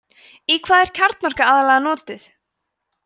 í hvað er kjarnorka aðallega notuð